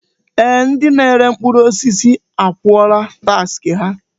Ee! Ndị na-ere mkpụrụ osisi akwụọla taksị ha.